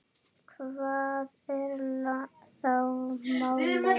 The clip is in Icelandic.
Hvað er þá málið?